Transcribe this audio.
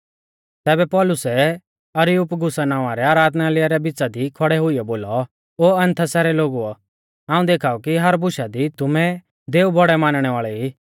तैबै पौलुसै अरियुपगुस नावां रै आराधनालय रै बिच़ा दी खौड़ै हुइयौ बोलौ ओ एथेंसा रै लोगुओ हाऊं देखाऊ कि हर बुशा दी तुमै दैऔ बौड़ै मानणै वाल़ै ई